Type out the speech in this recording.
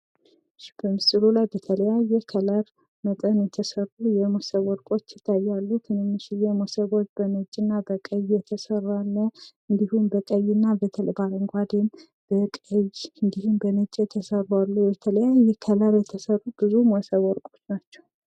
በምስሉ ላይ በተለያዬ ከለር መጠን የተሰሩ የሞሰብ ወርቆች ይታያሉ ትንንሽዬ ሞሰቦች በነጭ እና በቀይ የተሰራ አለ። እንዲሁም በቀይ እና በአረንጓዴም በቀይ እንዲሁም በነጭ የተሰሩ አሉ ። በተለያየ ከለር የተሰሩ ብዙ ሞሰብ ወርቆች ናቸው።